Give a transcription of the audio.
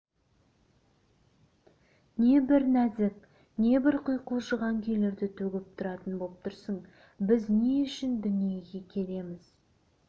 небір нәзік небір құйқылжыған күйлерді төгіп тұратын боп тұрсың біз не үшін дүниеге келеміз